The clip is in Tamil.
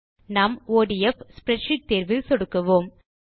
நாம் ஒடிஎஃப் ஸ்ப்ரெட்ஷீட் தேர்வில் சொடுக்குவோம்